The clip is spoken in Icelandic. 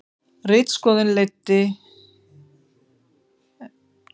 Ritskoðun ekki leidd í lög